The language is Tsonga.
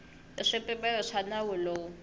hi swipimelo swa nawu lowu